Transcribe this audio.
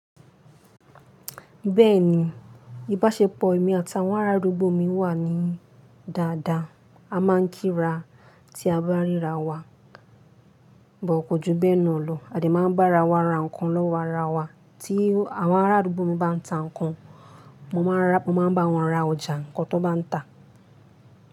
Bẹ́ẹ̀ni, ìbáṣepọ̀ èmi àtibawọn ará àdúgbò mi wà ní dáadáa. A máà ń kíra tí a bá ríra wa, but kò jù bẹ́ẹ̀ náà lọ, a dè máa bá ara wa ra nǹkan lọ́wọ́ ara wa, tí àwọn ará àdúgbò mi bá ń ta nǹkan, mo máa n bá wọn ra ọjà nǹkan tó bá ń ta.